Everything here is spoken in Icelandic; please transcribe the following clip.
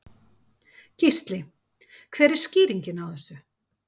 Gísli: Hver er skýringin á þessu?